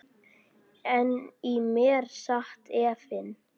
En í mér sat efinn.